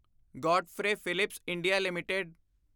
Godfrey Phillips India LTD